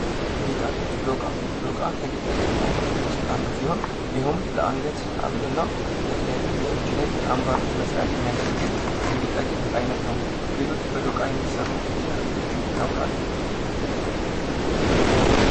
ጌጣጌጥ ። ዶቃ ፡ ዶቃ ከጌጣጌጥ አይነቶች ውስጥ አንዱ ሲሆን ይህውም ለአንገት ሀብል እና ለተለያዩ የእጅ ላይ አምባሮች መስሪያ የሚያገለግል የጌጣጌጥ አይነት ነው ። ሌሎች በዶቃ የሚሰሩ ጌጣጌጦችን ያውቃሉ ?